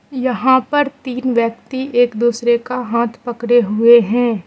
यहां पर तीन व्यक्ति एक दूसरे का हाथ पकड़े हुए हैं।